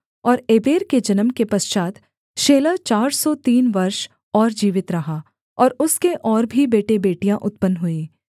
और एबेर के जन्म के पश्चात् शेलह चार सौ तीन वर्ष और जीवित रहा और उसके और भी बेटेबेटियाँ उत्पन्न हुईं